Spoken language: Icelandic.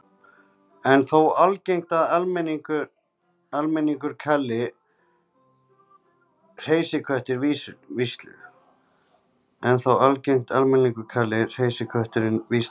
Enn er þó algengt að almenningur kalli hreysiköttinn víslu.